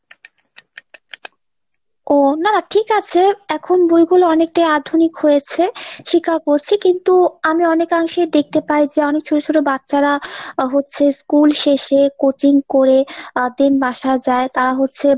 ও না ঠিক আছে এখন বইগুলো অনেকটাই আধুনিক হয়েছে স্বীকার করছি কিন্তু আমি অনেকাংশেই দেখতে পাই যে অনেক ছোট ছোট বাচ্চারা হচ্ছে school শেষে coaching করে then আহ বাসায় যায় তারা হচ্ছে।